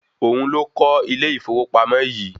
Òun ló kọ́ ilé ìfowópamọ̀ yìí